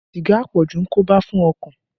Sìgá àpọ̀jù ń koba fún ọkàn